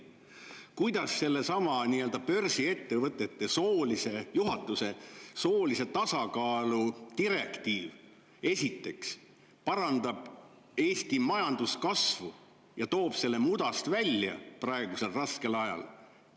Kuidas see nii-öelda börsiettevõtete juhatuse soolise tasakaalu direktiiv, esiteks, parandab Eesti majanduskasvu ja toob mudast välja praegusel raskel ajal?